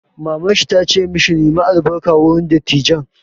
Mamar shi ta ce ma shi 'Nemi albarka wurin dattijan'!